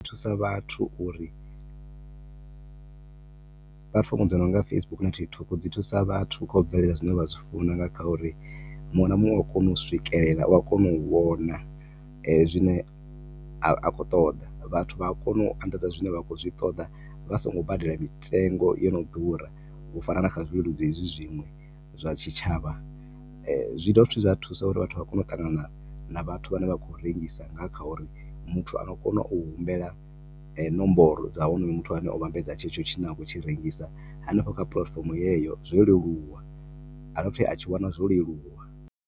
Thusa vhathu uri, platform dzi no nga Facebook na TikTok dzi thusa vhathu kha u bveledza zwine vha zwi funa nga kha uri muṅwe na muṅwe u ya kona u swikelela. U ya kona u vhona zwine wa khou ṱoḓa, vhathu vha a kona u anḓadza zwine vha khou zwi ṱoḓa vha songo badelo mitengo i no ḓura. U fana na kha zwikunguledzi hezwi zwiṅwe zwa tshitshavha. Zwi dovha hafhu zwa thusa uri vhathu vha kone u ṱangana na vhaṅwe vhathu vhane vha khou rengisa, nga kha uri muthu a nga kona u humbela nomboro dza honoyo muthu o vhambedza tshetsho tshithu tshine a a khou tshi rengisa hanefho kha platform yeneyo. Zwi a leluwa, a dovha futhi a tshi wana zwo leluwa.